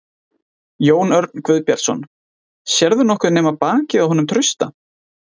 Jón Örn Guðbjartsson: Sérðu nokkuð nema bakið á honum Trausta?